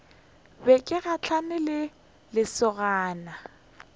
be ke gahlane le lesogana